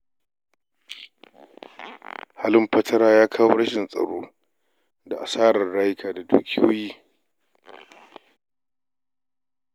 Halin fatara ya kawo rashin tsaro da asarar rayuka da dukiyoyi